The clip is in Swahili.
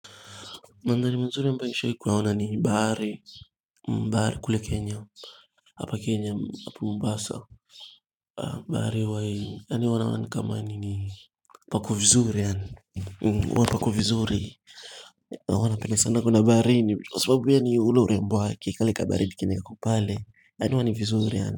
Mandhari mazuri ambayo nishawahi kuyaona ni bahari, bahari kule Kenya, hapa Kenya, hapa Mombasa, bahari huwa yaani huwa naona ni kama nini pako vizuri yaani, huwa pako vizuri, huwa napenda sana kwenda baharini, kwa sababu pia ni ule urembo wake, kale kabaridi kenye kako pale, yaani huwa ni vizuri yaani.